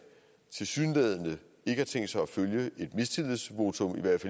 og tilsyneladende ikke har tænkt sig at følge et mistillidsvotum i hvert